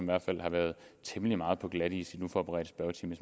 hvert fald har været temmelig meget på glatis i den uforberedte spørgetime